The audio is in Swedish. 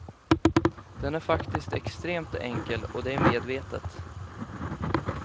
Den är faktiskt extremt enkel, och det är medvetet.